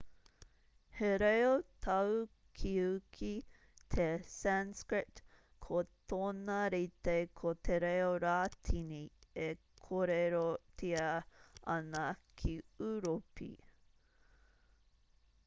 he reo tāukiuki te sanskrit ko tōna rite ko te reo rātini e kōrerotia ana ki ūropi